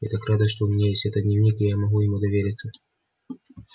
я так рада что у меня есть этот дневник и я могу ему довериться